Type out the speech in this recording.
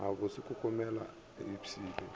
a mabose komelelo e iphile